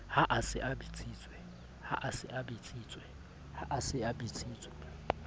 ha a se a bitsitswe